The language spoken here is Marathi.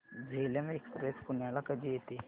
झेलम एक्सप्रेस पुण्याला कधी येते